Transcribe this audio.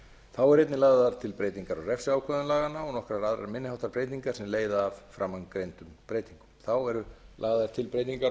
þá eru einnig lagðar til breytingar á refsiákvæðum laganna og nokkrar aðrar minni háttar breytingar sem leiða af framangreindum breytingum þá eru lagðar til breytingar